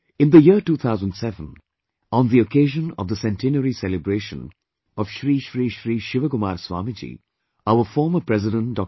In the year 2007 on the occasion of the Centenary celebration of Sri Sri Sri Shivakumar Swamiji our former President Dr